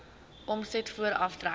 omset voor aftrekkings